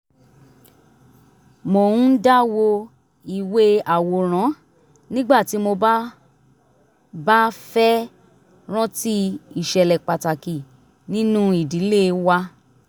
mo ń dá wo ìwé àwòrán nígbà tí mo bá bá fẹ́ rántí ìṣẹ̀lẹ̀ pàtàkì nínú ìdílé wa